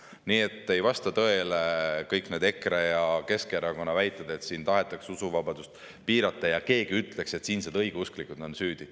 Nii et ei vasta tõele kõik need EKRE ja Keskerakonna väited, nagu siin tahetaks usuvabadust piirata ja keegi ütleks, et siinsed õigeusklikud on süüdi.